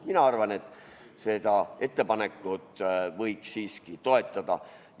Mina arvan, et seda ettepanekut võiks siiski toetada.